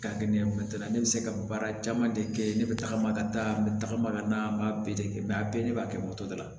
Ka kɛ ɲɛ ne be se ka baara caman de kɛ ne bɛ tagama ka taa n bɛ tagama ka na n b'a bɛɛ de kɛ a bɛɛ ne b'a kɛ dɔ la